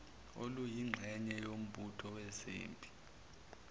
oluyingxenye yombutho wezempi